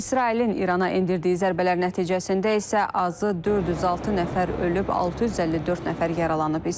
İsrailin İrana endirdiyi zərbələr nəticəsində isə azı 406 nəfər ölüb, 654 nəfər yaralanıb.